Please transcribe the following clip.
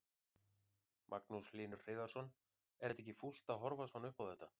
Magnús Hlynur Hreiðarsson: Er þetta ekki fúlt að horfa svona upp á þetta?